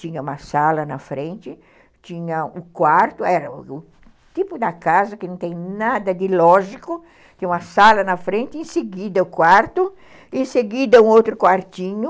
Tinha uma sala na frente, tinha o quarto, era o tipo da casa que não tem nada de lógico, tinha uma sala na frente, em seguida o quarto, em seguida um outro quartinho,